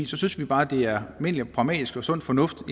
synes vi bare at det er almindelig og pragmatisk sund fornuft